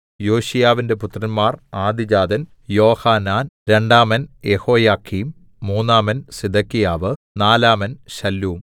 യോശീയാവിന്റെ പുത്രന്മാർ ആദ്യജാതൻ യോഹാനാൻ രണ്ടാമൻ യെഹോയാക്കീം മൂന്നാമൻ സിദെക്കിയാവ് നാലാമൻ ശല്ലൂം